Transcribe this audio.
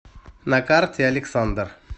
на карте александр